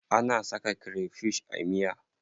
Ana saka krefish a miya.